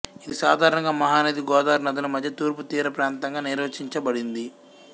ఇది సాధారణంగా మహానది గోదావరి నదుల మధ్య తూర్పు తీర ప్రాంతంగా నిర్వచించబడింది